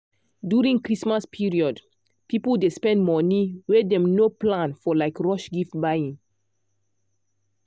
during christmas period people dey spend money wey dem no plan for like rush gift buying.